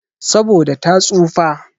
Saboda ta tsufa.